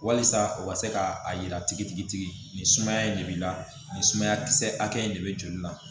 Walasa o ka se ka a yira tigitigi nin sumaya in de b'i la nin sumaya kisɛ hakɛ in de bɛ joli la